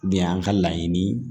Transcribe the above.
De y'an ka laɲini